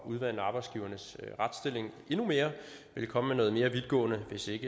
udvande arbejdsgivernes retsstilling endnu mere ville komme med noget mere vidtgående hvis ikke